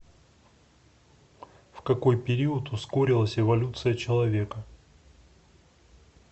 в какой период ускорилась эволюция человека